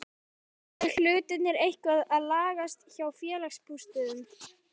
Eru hlutirnir eitthvað að lagast hjá Félagsbústöðum?